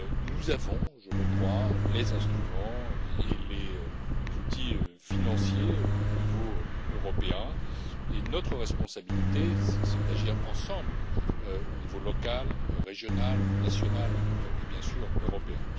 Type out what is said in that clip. Nous avons, je le crois, les instruments et les outils financiers adéquats au niveau européen et notre responsabilité, c'est d'agir ensemble aux niveaux local, régional, national et, bien sûr, européen.